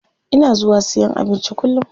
Ina zuwa siyan abinci kullum.